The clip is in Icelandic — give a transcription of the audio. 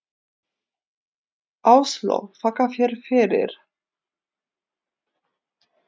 Áslaug: Þakka þér fyrir.